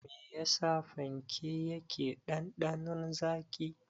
Me yasa fanke yake ɗanɗanon zaƙi.